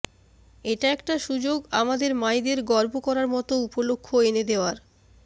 এটা একটা সুযোগ আমাদের মায়েদের গর্ব করার মতো উপলক্ষ এনে দেওয়ার